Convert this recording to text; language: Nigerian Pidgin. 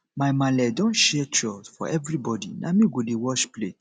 my maale don share chore for everybodi na me go dey wash plate